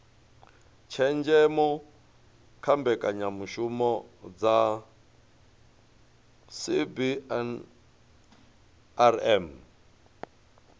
tshenzhemo kha mbekanyamishumo dza cbnrm